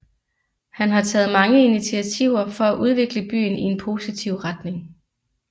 Han har taget mange initiativer for at udvikle byen i en positiv retning